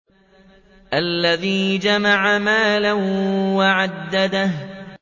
الَّذِي جَمَعَ مَالًا وَعَدَّدَهُ